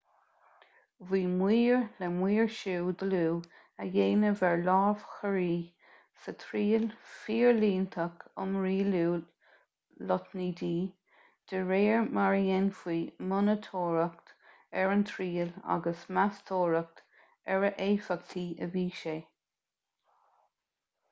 bhí maoir le maoirsiú dlúth a dhéanamh ar lámhachóirí sa triail fhorlíontach um rialú lotnaidí de réir mar a dhéanfaí monatóireacht ar an triail agus meastóireacht ar a éifeachtaí a bhí sé